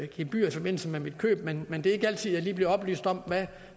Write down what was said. gebyrer i forbindelse med mit køb men men det er ikke altid at jeg bliver oplyst om hvad